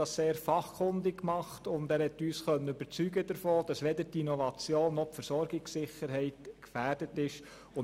Er tat dies sehr fachkundig, und er konnte uns davon überzeugen, dass weder die Innovation noch die Versorgungssicherheit gefährdet sind.